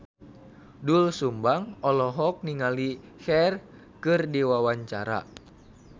Doel Sumbang olohok ningali Cher keur diwawancara